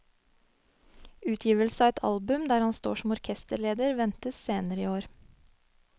Utgivelse av et album der han står som orkesterleder, ventes senere i år.